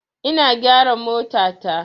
Ina gyara motata.